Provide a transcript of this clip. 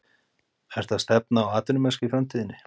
Ertu að stefna á atvinnumennsku í framtíðinni?